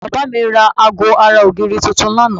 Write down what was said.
Bàbá mi ra aago ara ògiri tuntun lánàá